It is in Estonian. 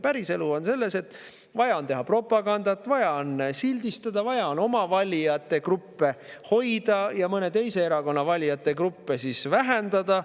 Päriselu on selline, et on vaja teha propagandat, vaja on sildistada, vaja on oma valijate gruppe hoida ja mõne teise erakonna valijate gruppe vähendada.